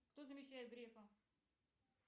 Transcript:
кто замещает грефа